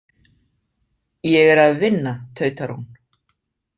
Ég er að vinna, tautar hún.